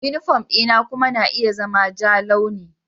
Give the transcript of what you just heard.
Yunifom dina kuma na iya zama ja launi.